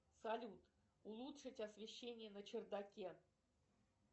салют улучшить освещение на чердаке